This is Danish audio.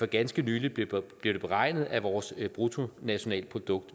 ganske nylig blev det beregnet at vores bruttonationalprodukt